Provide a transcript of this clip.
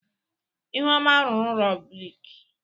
ihuoma rụrụ ụlọ brik.